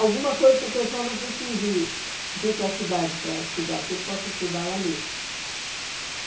Alguma coisa que o pessoal não precise vir para a cidade para estudar, que ele possa estudar lá mesmo.